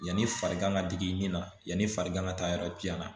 Yanni farigan ka digi i ni na yanni farigan ka taa yɔrɔ giɲan na